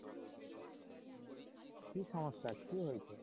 কি সমস্যা কি হয়েছে?